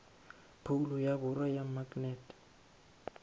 phoulo ya borwa ya maknete